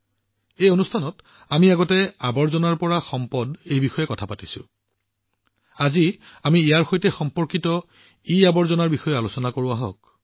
আগতেও এই কাৰ্যসূচীত আমি আৱৰ্জনাৰ পৰা সম্পদলৈ অৰ্থাৎ কচৰে চে কাঞ্চনৰ বিষয়ে কথা পাতিছিলো কিন্তু আহক আজি ইয়াৰ সৈতে সম্পৰ্কিত ইআৱৰ্জনাৰ বিষয়ে আলোচনা কৰোঁ